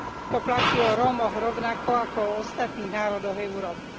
To platí o Rómoch rovnako ako o ostatných národoch Európy.